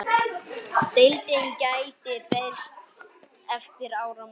Deildin gæti breyst eftir áramót.